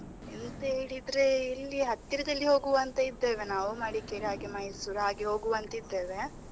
ಎಂತ ಹೇಳಿದ್ರೆ, ಇಲ್ಲಿ ಹತ್ತಿರದಲ್ಲಿ ಹೋಗುವ ಅಂತ ಇದ್ದೇವೆ ನಾವು ಮಡಿಕೇರಿ ಹಾಗೆ Mysore ಹಾಗೆ ಹೋಗುವ ಅಂತ ಇದ್ದೇವೆ.